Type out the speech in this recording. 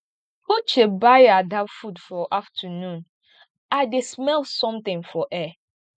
uche buy ada food for afternoon i dey smell something for air